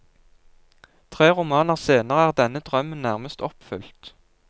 Tre romaner senere er denne drømmen nærmest oppfylt.